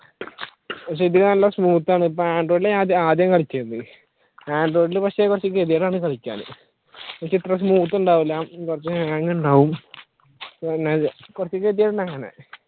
പക്ഷെ ഇതിൽ നല്ല smooth ആണ് ഇപ്പ android ലാണ് ഞാൻ ആദ്യം കളിച്ചിരുന്നത് android ഇൽ പക്ഷെ കുറച്ചു ഗതികേടാണ് കളിക്കാൻ പക്ഷെ ഇത്ര smooth ഉണ്ടാവൂല കുറച്ചു hang ഉണ്ടാവും